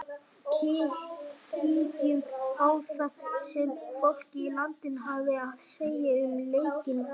Kíkjum á það sem fólkið í landinu hafði að segja um leiki dagsins.